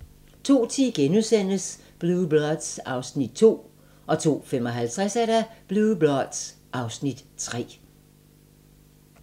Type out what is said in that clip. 02:10: Blue Bloods (Afs. 2)* 02:55: Blue Bloods (Afs. 3)